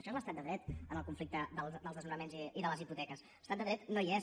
això és l’estat de dret en el conflicte dels desnonaments i de les hipoteques l’estat de dret no hi és